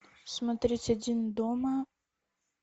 смотреть один дома